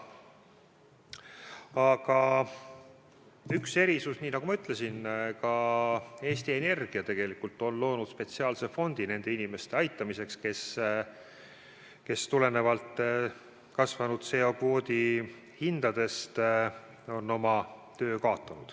Aga nagu ma ütlesin, ka Eesti Energia on loonud spetsiaalse fondi nende inimeste aitamiseks, kes tulenevalt CO2 kvoodi kasvanud hinnast on oma töö kaotanud.